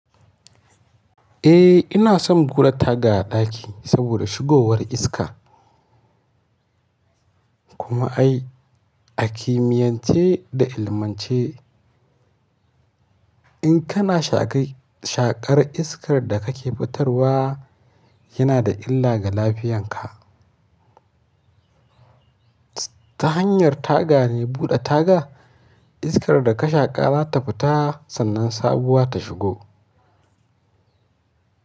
Eh ina son gura taga a ɗaki saboda shigowar iska. Kuma ai a kimiyance da ilmance in kana shaƙar iskar da kake fitarwa yana da illa ga lafiyanka. Ta hanyar taga ne buɗe taga iskar da ka shaƙa za ta fita sannan sabuwa ta shigo.